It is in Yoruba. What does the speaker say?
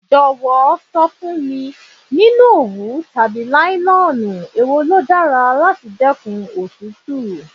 Jọ̀wọ́ sọ fún mi, nínú òwú tàbí nílọ́nù, è wo ló dára láti dẹ́kun òtútù.